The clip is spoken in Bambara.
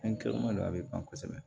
a bɛ ban kosɛbɛ